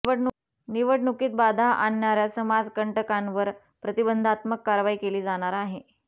निवडणुकीत बाधा आणणाऱया समाजकंटकांवर प्रतिबंधात्मक कारवाई केली जाणार आहे